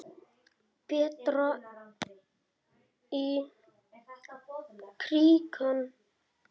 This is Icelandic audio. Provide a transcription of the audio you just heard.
Berta í krikann?